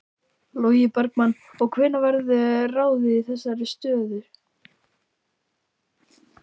Logi Bergmann: Og hvenær verður ráðið í þessar stöður?